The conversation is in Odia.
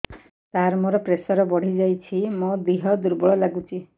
ସାର ମୋର ପ୍ରେସର ବଢ଼ିଯାଇଛି ମୋ ଦିହ ଦୁର୍ବଳ ଲାଗୁଚି